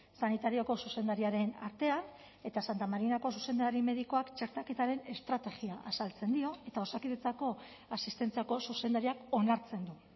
sanitarioko zuzendariaren artean eta santa marinako zuzendari medikuak txertaketaren estrategia azaltzen dio eta osakidetzako asistentziako zuzendariak onartzen du